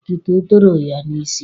Otito toro ya n'isi.